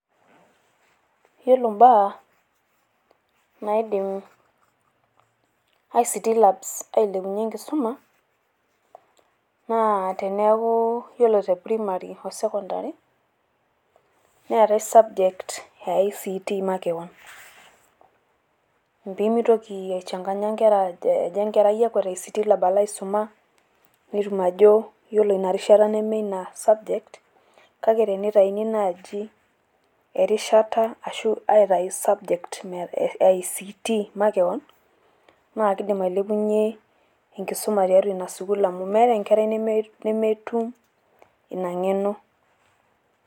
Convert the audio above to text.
Yielo baa naidim ICTlabs ailepunyie enkisuma naa teneeku ore te primary ashu tesokondaei neetae subject eict makewan. Piimitoki aisumbua inkera , kejo Enkerai akwet ICTlabs alo aisuma netum ajo ore ina rishata nmee Ina subject kake teneitauni naaji erishata arashu aitayu subject eict makewan naa keidim ailepunyie enkisuma tiatua Ina sukuul amu meetae Enkerai neme nemetum Ina ng'eno.